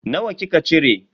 Nawa kika cire?